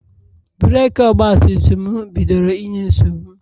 breeki Ọgbatumtum mụ bidoro inye nsogbu..